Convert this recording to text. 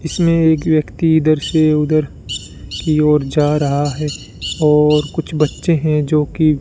इसमें एक व्यक्ति इधर से उधर की ओर जा रहा है और कुछ बच्चे है जो की --